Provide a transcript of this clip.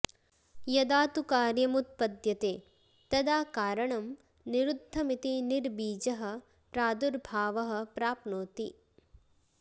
यदा तु कार्यमुत्पद्यते तदा कारणं निरुद्धमिति निर्बीजः प्रदुर्भावः प्राप्नोति